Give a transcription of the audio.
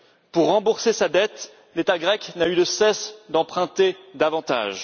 Pour rembourser sa dette, l'État grec n'a eu de cesse d'emprunter davantage.